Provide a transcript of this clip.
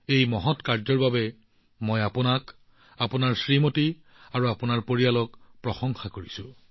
এই মহৎ কামৰ বাবে মই আপোনাক আপোনাৰ পত্নীক আপোনাৰ পৰিয়ালক প্ৰশংসা কৰো